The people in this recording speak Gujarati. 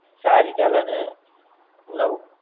સારી ચાલે ને નવ